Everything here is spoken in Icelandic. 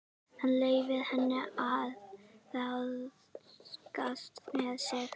Hann leyfir henni að ráðskast með sig.